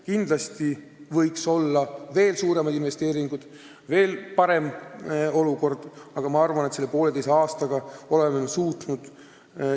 Kindlasti võiks olla veel suuremad investeeringud, veel parem olukord, aga minu arvates me oleme poolteise aastaga suutnud päris palju ära teha.